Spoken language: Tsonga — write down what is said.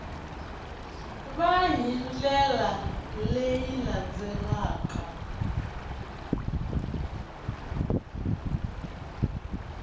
va hi ndlela leyi landzelaka